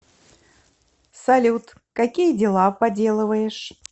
салют какие дела поделываешь